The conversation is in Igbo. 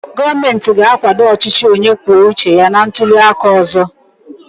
Gọọmentị ga-akwado ọchịchị onye kwuo uche ya na ntuli aka ọzọ.